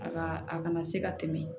A ka a kana se ka tɛmɛ